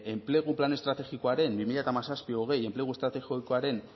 enplegu plan estrategikoaren bi mila hamazazpi bi mila hogei enplegu estrategikoaren